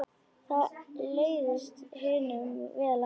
Það leist hinum vel á.